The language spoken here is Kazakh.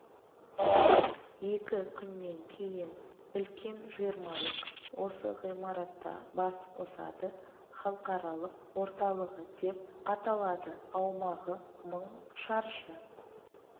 екі күннен кейін үлкен жиырмалық осы ғимаратта бас қосады халықаралық орталығы деп аталады аумағы мың шаршы